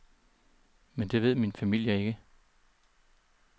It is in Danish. Men det ved min familie ikke.